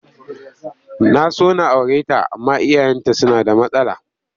Na so na aure ta amma iyayenta suna da matsala